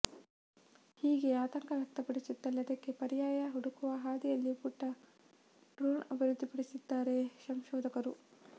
ಹೀಗೆ ಆತಂಕ ವ್ಯಕ್ತಪಡಿಸುತ್ತಲೇ ಅದಕ್ಕೆ ಪರ್ಯಾಯ ಹುಡುಕುವ ಹಾದಿಯಲ್ಲಿ ಪುಟ್ಟ ಡ್ರೋಣ್ ಅಭಿವೃದ್ಧಿಪಡಿಸಿದ್ದಾರೆ ಸಂಶೋಧಕರು